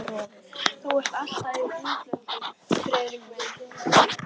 Og þú ert alltaf í útlöndum, Friðrik minn